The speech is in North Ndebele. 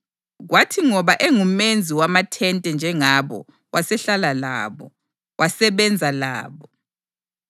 kwathi ngoba engumenzi wamathente njengabo wasehlala labo, wasebenza labo.